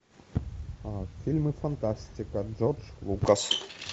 фильмы фантастика джордж лукас